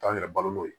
K'an yɛrɛ balo n'o ye